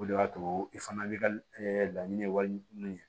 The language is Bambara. O de y'a to i fana bɛ ka laɲini wali min kɛ